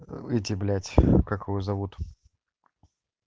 эти блять как его зовут